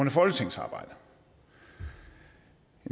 af folketingsarbejdet